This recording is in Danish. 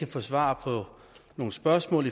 få svar på nogen spørgsmål